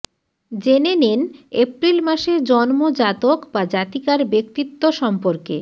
জেনে নিন এপ্রিল মাসে জন্ম জাতক বা জাতিকার ব্যক্তিত্ব সম্পর্কে